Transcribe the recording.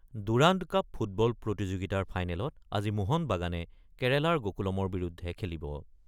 Durand cup football প্ৰতিযোগিতাৰ ফাইনেলত আজি মহান বাগানে কেৰালাৰ গকুলমৰ বিৰুদ্ধে খেলিব ।